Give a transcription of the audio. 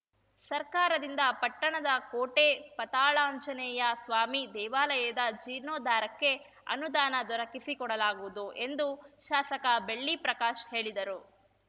ಸರ್ಕಾರದಿಂದ ಪಟ್ಟಣದ ಕೋಟೆ ಪತಾಳಾಂಜನೇಯ ಸ್ವಾಮಿ ದೇವಾಲಯದ ಜೀರ್ಣೋದ್ಧಾರಕ್ಕೆ ಅನುದಾನ ದೊರಕಿಸಿ ಕೊಡಲಾಗುವುದು ಎಂದು ಶಾಸಕ ಬೆಳ್ಳಿಪ್ರಕಾಶ್‌ ಹೇಳಿದರು